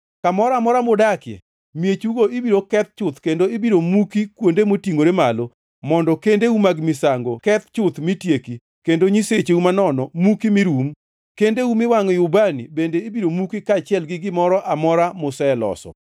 Kamoro amora mudakie, miechugo ibiro keth chuth kendo ibiro muki kuonde motingʼore malo, mondo kendeu mag misango keth chuth mi tieki, kendo nyisecheu manono muki mi rum, kendeu muwangʼoe ubani bende ibiro muki, kaachiel gi gimoro amora museloso.